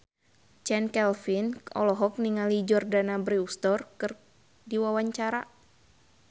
Chand Kelvin olohok ningali Jordana Brewster keur diwawancara